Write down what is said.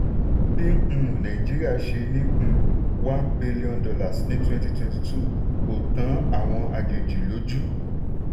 bí um nàìjíríà ṣe ní um one billion dollars ní twenty twenty two kò tan àwọn àjèjì lójú.